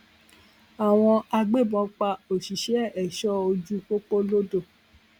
àwọn agbébọn pa òṣìṣẹ ẹṣọ ojú pópó lodò